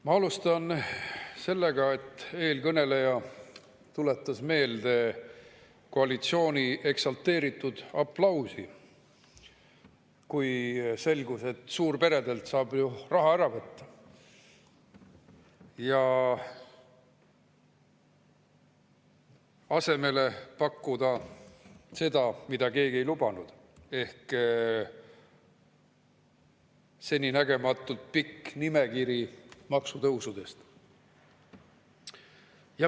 Ma alustan sellest, et eelkõneleja tuletas meelde koalitsiooni eksalteeritud aplausi, kui selgus, et suurperedelt saab raha ära võtta ja asemele pakkuda seda, mida keegi ei lubanud – seninägematult pika nimekirja maksutõusudest.